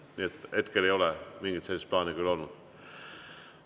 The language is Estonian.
Nii et hetkel ei ole sellist plaani küll olnud.